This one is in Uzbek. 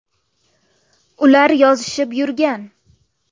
Ular yozishib yurgan.